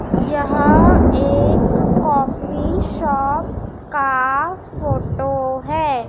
यह एक coffee shop का फोटो है।